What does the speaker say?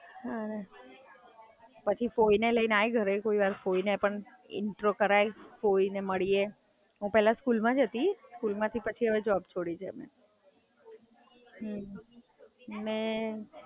પછી ફોઈને લઈને આય ઘરે કોઈ વાર ફોઈને પણ ઈન્ટ્રો કરાય. ફોઈને મડીએ, હું પેહલા સ્કૂલ માં જ હતી, સ્કૂલ માંથી હવે જોબ છોડી છે હવે.